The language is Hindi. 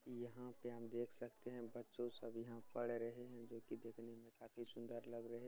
यहाँ पे हम देख सकते हैं बच्चों सभी यहाँ पढ़ रहे हैं जोकि देखने में काफी सुंदर लग रहे --